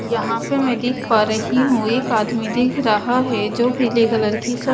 यहाँ पे मैं देख पा रही हूं एक आदमी दिख रहा है जो पीले कलर की--